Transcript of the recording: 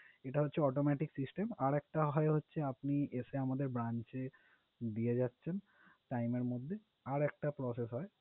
এটা হচ্ছে automatic system আরেকটা হয় হচ্ছে আপনি এসে আমাদের branch এ দিয়ে যাচ্ছেন time এর মধ্যে আর একটা process হয়